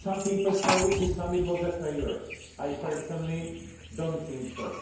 Some people say the summit was a failure. I personally do not think so.